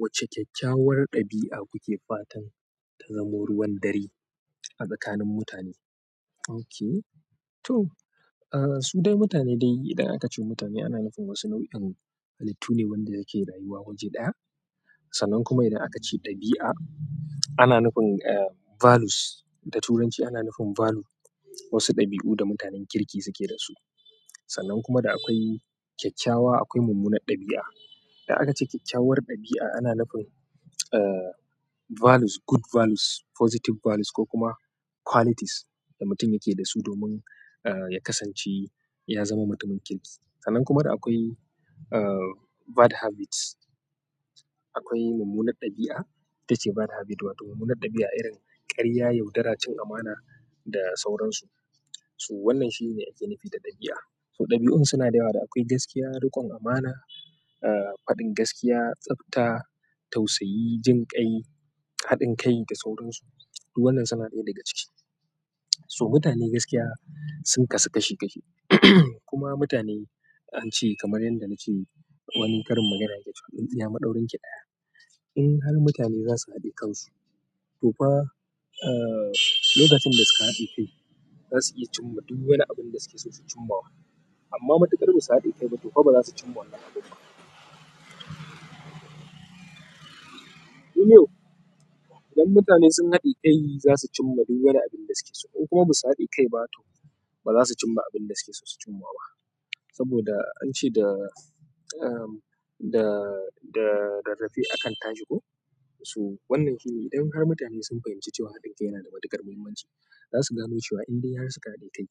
Wacce kyakkyawar ɗabi'a kuke fatan ta zamo ruwan dare a tsakanin mutane? OK. To, su dai mutane dai idan aka ce mutane ana nufin wasu nau'in halittu ne wanda yake rayuwa waje ɗaya. Sannan kuma idan aka ce ɗabi'a ana nufin values. Da Turanci ana nufin value. Wasu ɗabi'u da mutanen kirki suke da su. Sannan kuma da akwai kyakkyawa, akwai mummuna ɗabi'a. Idan aka ce kyakkyawar ɗabi'a, ana nufin ah, values, good values, positive values ko kuma qualities da mutum yake dasu domin ya kasance ya zama mutumin kirki. Sannan kuma da akwai bad habits. Akwai mummuna ɗabi'a ita ce bad habit, wato mummuna ɗabi'a irin ƙarya, yaudara, cin amana da sauransu. To wannan shine ake nufi da ɗabi'a. To, ɗabi'un suna da yawa da akwai gaskiya, riƙon amana, faɗin gaskiya, tsabta, tausayi, jin kai, haɗin kai da sauransu. Duk wannan suna ɗaya daga ciki. So mutane gaskiya sun kasu kashi kashi. Kuma mutane an ce kamar yadda na ce wani karin magana yake cewa, "Tsitsiya maɗaurinki ɗaya." In har mutane za su haɗe kansu, to fa lokacin da suka haɗe kai za su iya cimma duk wani abinda suke so su cimmawa. Amma matuƙar ba su haɗe kai ba, to fa ba za su cimma wannan abin ba. To yau, idan mutane sun haɗe kai za su cimma duk wani abinda suke so. In kuma ba su haɗe kai ba to ba za su cimma abinda suke so su cimma ba. Saboda an ce da, da, da, "Rarrafe akan tashi ko?" To, wannan shine idan har mutane sun fahimci cewa haɗin kai yana da matuƙar muhimmanci, za su gane cewa in dai har su ka haɗe kai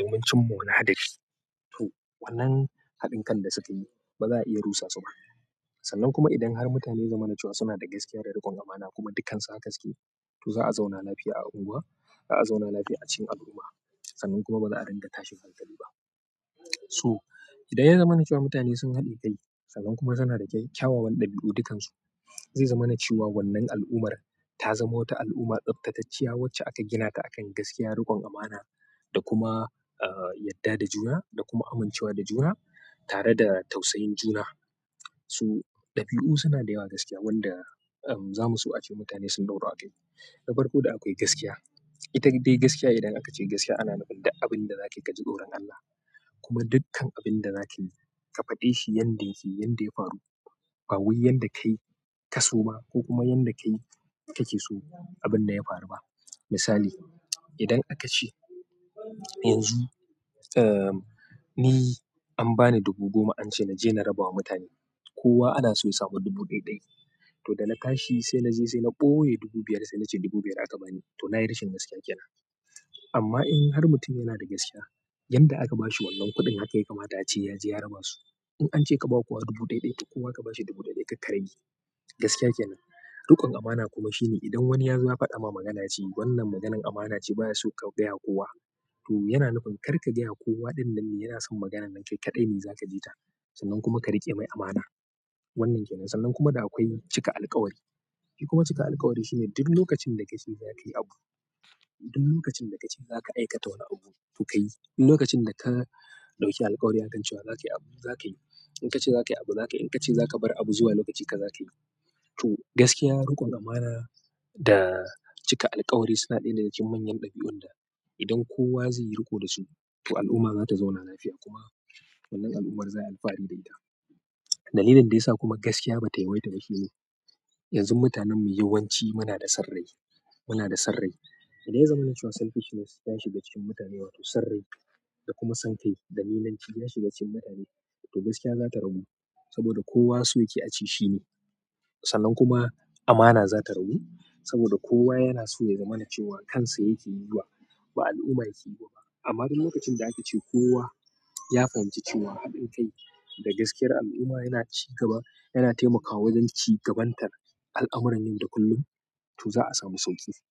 domin cimma wani haɗari, to wannan haɗin kan da sukayi ba za a iya rusa su ba. Sannan kuma idan har mutane ya zamana cewa suna da gaskiya da riƙon amana kuma dukansu haka suke to za'a zauna lafiya a unguwa, za'a zauna lafiya a cikin al'umma. Sannan kuma ba za'a ringa tashin hankali ba. So idan ya zamana cewa mutane sun haɗe kai sannan kuma suna da kyawawan ɗabi'u dukkansu, zai zamana cewa wannan al'ummar ta zama wata al'umma tsabtatacciya wacce aka gina ta akan gaskiya, riƙon amana da kuma yadda da juna da kuma amincewa da juna tare da tausayin juna. To, ɗabi'u suna da yawa gaskiya wanda za mu so ace mutane sun ɗauru akai. Na farko da akwai gaskiya. Ita dai gaskiya idan aka ce gaskiya ana nufin duk abinda zakayi kaji tsoron Allah. Kuma dukkan abin da zakayi, ka faɗe shi yanda yake, yanda ya faru. Ba wai yadda kai kaso ba, ko kuma yadda kai kake so abinnan ya faru ba. Misali, idan aka ce yanzu, eh, ni an bani dubu goma an ce na je na rabawa mutane. Kowa ana so ya sami dubu ɗaiɗai. To da na tashi sai na je sai na ɓoye dubu biyar sai na ce dubu biyar aka bani to na yi rashin gaskiya kenan. Amma in har mutum yana da gaskiya, yanda aka ba shi wannan kuɗin haka ya kamata ace ya je ya raba su. In an ce ka bawa kowa dubu ɗaiɗai to kowa ka bashi dubu ɗaiɗai kar ka rage. Gaskiya kenan. Riƙon amana kuma shine idan wani yazo ya faɗa ma magana yace, wannan maganan amana ce baya so ka gayawa kowa. To yana nufin kar ka gayawa kowa ɗinnan ne, yana son maganan nan kai kaɗai ne za ka ji ta sannan kuma ka riƙe mai amana. Wannan kenan. Sannan kuma da akwai cika alkawari. Kuma cika alkawari shine duk lokacin da ka ce za ka yi abu, duk lokacin da ka ce za ka aikata wani abu, to ka yi. Duk lokacin da ka ɗauki alkawari akan cewa za ka yi abu, za ka yi. In ka ce za ka yi abu, za ka yi. In ka ce za ka bar abu zuwa lokaci, ka za ka yi. To gaskiya, riƙon amana da cika alkawari suna ɗaya daga cikin manyan ɗabi'un da idan kowa zai yi riƙo da su to al'umma za ta zauna lafiya kuma wannan al'ummar za'a yi alfahari da ita. Dalilin da yasa kuma gaskiya ba ta yawaita ba shine yanzu mutanenmu yawanci muna da son rai. Muna da son rai. Idan ya zamana cewa selfishness ya shiga cikin mutane wato sarrai da kuma san kai da nimanci ya shiga cikin mutane, to gaskiya za ta ragu. Saboda kowa so yake ace shi ne. Sannan kuma amana za ta ragu saboda kowa yana so ya zamana cewa kansa yake yiwa, ba al'umma yake yiwa ba. Amma duk lokacin da aka ce kowa ya fahimci cewa haɗin kai da gaskiyar al'umma yana ci gaba, yana taimakawa wajen ci gabantar al'amuran yau da kullum to za'a samu sauƙi sauƙi.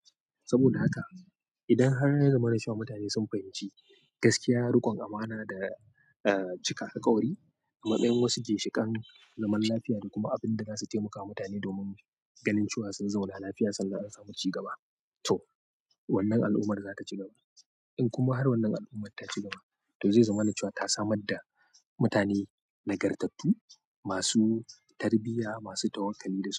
Saboda haka idan har ya zamana cewa mutane sun fahimci gaskiya, riƙon amana da cika alkawari, a matsayin wasu ginshiƙan zaman lafiya da kuma abinda zasu taimakawa mutane domin ganin cewa sun zauna lafiya sannan an samu ci gaba. To wannan al'ummar za ta cigaba. In kuma har wannan al'ummar ta ci gaba to zai zama na cewa ta samar da mutane nagartattu masu tarbiyya, masu tawakkali da su.